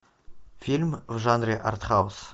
фильм в жанре артхаус